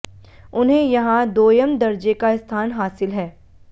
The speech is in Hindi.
उन्हें यहां दोयम दर्जे का स्थान हासिल है